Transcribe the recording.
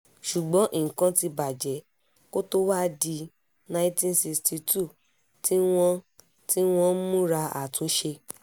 ṣùgbọ́n nǹkan ti bàjẹ́ kó tóó wáá di nineteen sixty two tí wọ́n tí wọ́n ń múra àtúnṣe